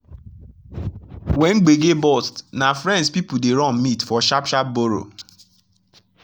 when gbege burst na friends people dey run meet for sharp sharp borrow.